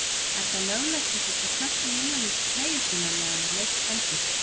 Er það löglegt að setja knöttinn innan undir treyju sína meðan á leik stendur?